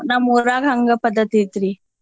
ನಮ್ ಊರಾಗ್ ಹಂಗ್ ಪದ್ದತಿ ಐತ್ರಿ.